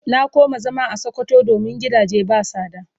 Na koma zama a sokoto domin gidage ba sada.